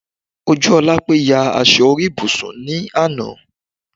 Ojúọlápé ya aṣọ orí ibùsùn ní àná